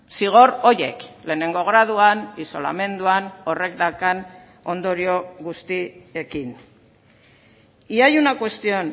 zigor horiek lehenengo graduan isolamenduan horrek daukan ondorio guztiekin y hay una cuestión